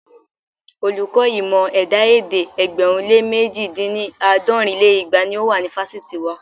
Olùkọ́ ìmọ̀ ẹ̀dá-èdè ẹgbẹ̀rún lé mẹ̀ji dín ní- àádọ́rin lé igba ni ó wà ní fásitì wa.